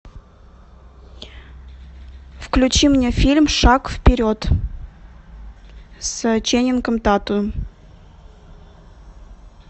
включи мне фильм шаг вперед с ченнингом татумом